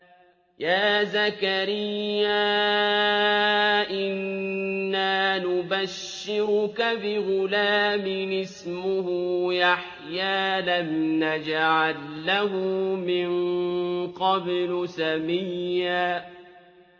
يَا زَكَرِيَّا إِنَّا نُبَشِّرُكَ بِغُلَامٍ اسْمُهُ يَحْيَىٰ لَمْ نَجْعَل لَّهُ مِن قَبْلُ سَمِيًّا